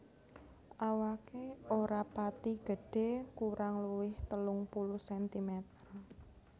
Awaké ora pati gedhé kurang luwih telung puluh sentimeter